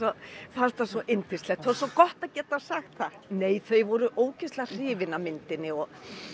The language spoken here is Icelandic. fannst það svo yndislegt það er svo gott að geta sagt það nei þau voru ógeðslega hrifin af myndinni